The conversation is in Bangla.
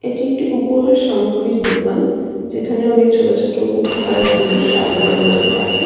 এটি একটি উপহার সামগ্রীর দোকান। যেখানে অনেক ছোট-ছোট উপহার এর জিনিস সাজানো রয়েছে তাকে।